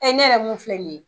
ne yɛrɛ mun filɛ nin ye.